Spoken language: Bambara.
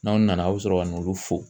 N'anw nana a' bɛ sɔrɔ ka na olu fo